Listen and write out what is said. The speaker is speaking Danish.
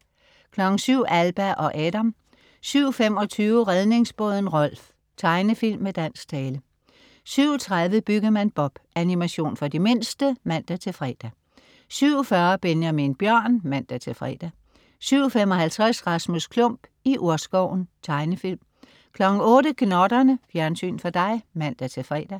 07.00 Alba og Adam 07.25 Redningsbåden Rolf. Tegnefilm med dansk tale 07.30 Byggemand Bob. Animation for de mindste (man-fre) 07.40 Benjamin Bjørn (man-fre) 07.55 Rasmus Klump, i urskoven. Tegnefilm 08.00 Gnotterne. Fjernsyn for dig (man-fre)